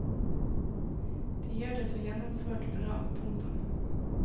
De gjør det så gjennomført bra. punktum